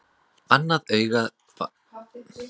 Annað augað var algjörlega dofið og ég sá bara móðu með því.